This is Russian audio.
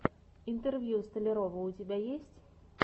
интервью столярова у тебя есть